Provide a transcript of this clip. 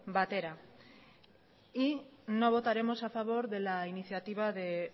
batera no votaremos a favor de la iniciativa de